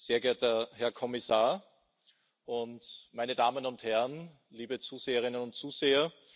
sehr geehrter Herr Kommissar und meine Damen und Herren, liebe Zuschauerinnen und Zuschauer!